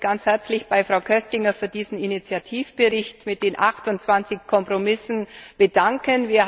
Ich möchte mich ganz herzlich bei Frau Köstinger für diesen Initiativbericht mit den 28 Kompromissen bedanken.